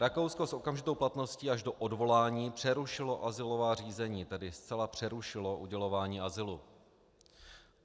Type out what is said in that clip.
Rakousko s okamžitou platností až do odvolání přerušilo azylová řízení, tedy zcela přerušilo udělování azylu.